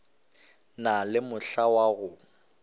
na le mohla wa go